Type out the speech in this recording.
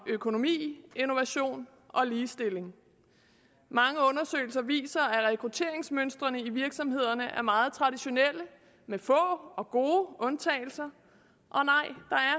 økonomi innovation og ligestilling mange undersøgelser viser at rekrutteringsmønstrene i virksomhederne er meget traditionelle med få og gode undtagelser